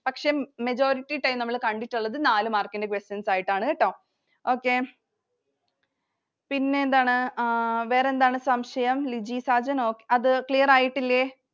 പക്ഷെ majority time നമ്മൾ കണ്ടിട്ടുള്ളത് നാല് mark ൻറെ questions ആയിട്ടാണ്‌ കെട്ടോ. Okay. പിന്നെന്താണ്. എഹ് വേറെ എന്താണ് സംശയം? Ligi Sajan അത് clear ആയിട്ടില്ലേ?